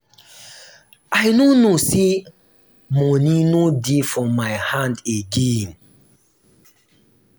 i no know say money no dey for my hand again